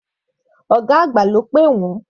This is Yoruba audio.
Ọ̀gá àgbà ló pè wọ́n.